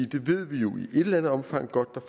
det ved vi jo i et eller andet omfang godt der